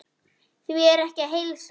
Því er ekki að heilsa.